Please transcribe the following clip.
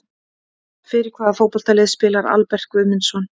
Fyrir hvaða fótboltalið spilar Albert Guðmundsson?